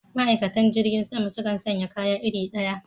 Ma'aikatan jirgin sama sukan sanye kaya iri ɗaya